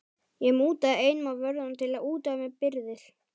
Ég mútaði einum af vörðunum til að útvega mér birgðir.